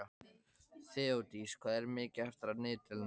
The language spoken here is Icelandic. Þeódís, hvað er mikið eftir af niðurteljaranum?